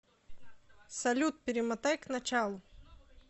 салют перемотай к началу